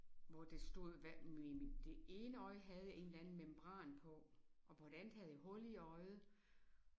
Hvor det stod hvad mit det ene øje det havde en eller anden membran på og på det andet havde jeg hul i øjet